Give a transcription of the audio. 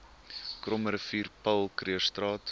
krommerivier paul krugerstraat